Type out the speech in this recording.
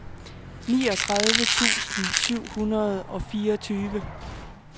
niogtredive tusind syv hundrede og fireogtyve